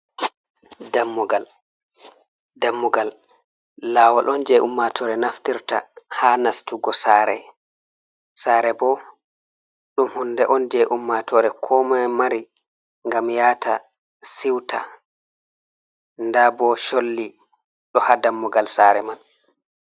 Dammugal lawol on je ummatore naftirta ha nastugo sare, bo dum hunɗe on je ummatore ko mai mari gam yata siuta daɓo cholli do ha dammugal sare man.